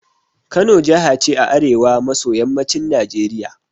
Kano jaha ce a arewa maso yammacin Najeriya